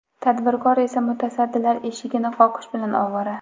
Tadbirkor esa mutasaddilar eshigini qoqish bilan ovora.